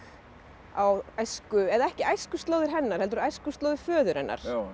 á æsku eða ekki æskuslóðir hennar heldur æskuslóðir föður hennar